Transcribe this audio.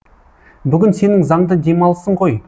бүгін сенің заңды демалысын ғой